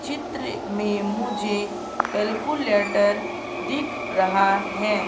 चित्र में मुझे कैलकुलेटर दिख रहा हैं।